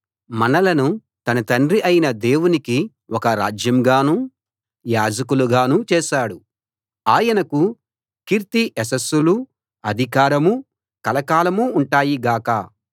మనలను తన తండ్రి అయిన దేవునికి ఒక రాజ్యంగానూ యాజకులుగానూ చేశాడు ఆయనకు కీర్తి యశస్సులూ అధికారమూ కలకాలం ఉంటాయి గాక